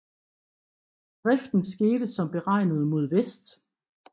Driften skete som beregnet mod vest